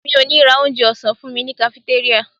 Mi ò ní ra onjẹ ọ̀sán fúnmi ní kafitéríà.